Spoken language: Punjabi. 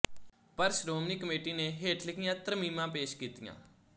ਪਰ ਸ਼੍ਰੋਮਣੀ ਕਮੇਟੀ ਨੇ ਹੇਠ ਲਿਖੀਆਂ ਤਰਮੀਮਾਂ ਪੇਸ਼ ਕੀਤੀਆਂ